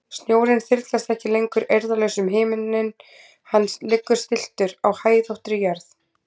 Snjórinn þyrlast ekki lengur eirðarlaus um himininn, hann liggur stilltur á hæðóttri jörð.